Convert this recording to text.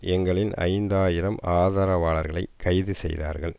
எங்களின் ஐந்து ஆயிரம் ஆதரவாளர்களை கைது செய்தார்கள்